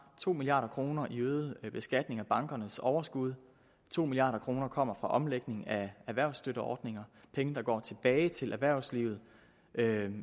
to milliard kroner i øget beskatning af bankernes overskud og to milliard kroner kommer fra omlægning af erhvervsstøtteordninger penge der går tilbage til erhvervslivet